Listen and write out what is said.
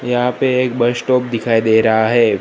यहां पे एक बस स्टॉप दिखाई दे रहा है।